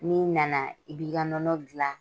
N'i i na na i b'i ka nɔnɔ gilan.